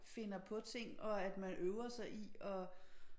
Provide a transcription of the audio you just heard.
Finder på ting og at man øver sig i at